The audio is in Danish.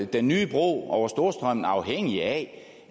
den nye bro over storstrømmen afhængig af